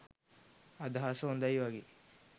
අදහස හොඳයි වගේ